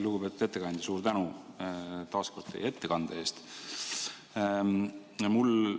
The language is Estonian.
Lugupeetud ettekandja, suur tänu taas kord teie ettekande eest!